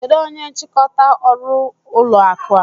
Kedụ onye nchịkọta ọrụ ụlọ akụ a?